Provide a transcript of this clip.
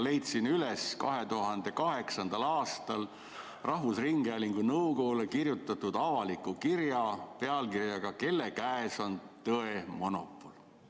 Leidsin üles 2008. aastal rahvusringhäälingu nõukogule kirjutatud avaliku kirja pealkirjaga "Kelle käes on tõe monopol?".